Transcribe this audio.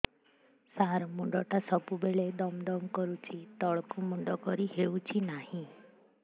ସାର ମୁଣ୍ଡ ଟା ସବୁ ବେଳେ ଦମ ଦମ କରୁଛି ତଳକୁ ମୁଣ୍ଡ କରି ହେଉଛି ନାହିଁ